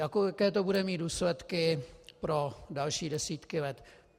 Jaké to bude mít důsledky pro další desítky let?